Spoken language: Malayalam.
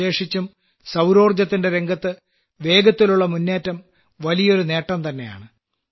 വിശേഷിച്ചും സൌരോർജ്ജത്തിന്റെ രംഗത്ത് വേഗത്തിലുള്ള മുന്നേറ്റം വലിയൊരു നേട്ടംതന്നെയാണ്